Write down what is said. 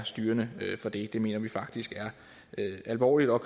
styrende for det det mener vi faktisk er alvorligt og